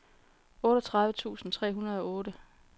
otteogtredive tusind tre hundrede og otte